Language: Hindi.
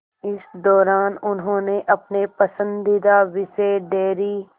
इस दौरान उन्होंने अपने पसंदीदा विषय डेयरी